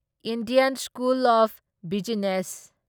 Indian school of business